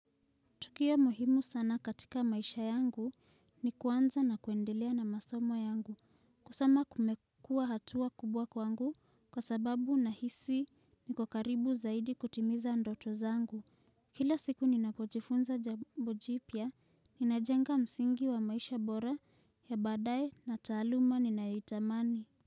Tukio muhimu sana katika maisha yangu ni kuanza na kuendelea na masomo yangu kusoma kumekua hatua kubwa kwangu kwa sababu na hisi ni kokaribu zaidi kutimiza ndoto zangu. Kila siku ninakojifunza jambojipya ninajenga msingi wa maisha bora ya badaye na taluma ni nahitamani.